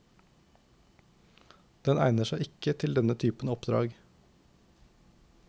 Den egner seg ikke til denne typen oppdrag.